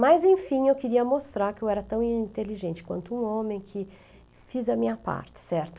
Mas, enfim, eu queria mostrar que eu era tão inteligente quanto um homem que fiz a minha parte, certo?